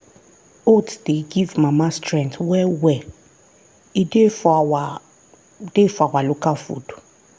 oats dey give mama strength well well e dey for our dey for our local food.